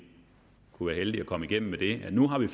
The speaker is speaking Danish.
kunne heldige at komme igennem med det at nu har vi